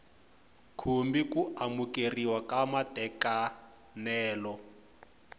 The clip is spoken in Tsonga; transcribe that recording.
khumbi ku amukeriwa ka matekanelo